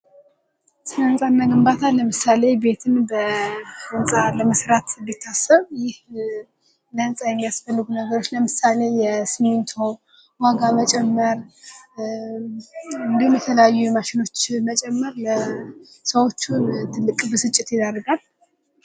ስለ ህንፃና ግንባታ ለምሳሌ ቤትን በህንፃ ለመስራት ቢታሰብ ይህ ለህንፃ የሚያስፈልጉ ነገሮች ለምሳሌ የስሚንቶ ዋጋ መጨመር እንዲሁም የተለያዩ የማሸኖች መጨመር ለሰዎቹ ትልቅ ብስጭት ይደርጋል ::